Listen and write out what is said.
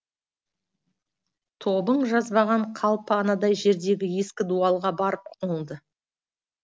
тобын жазбаған қалпы анадай жердегі ескі дуалға барып қонды